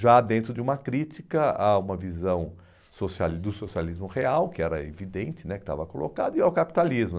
Já dentro de uma crítica a uma visão socialis do socialismo real, que era evidente né, que estava colocado, e ao capitalismo.